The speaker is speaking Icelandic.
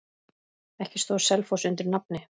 Ekki stóð Selfoss undir nafni.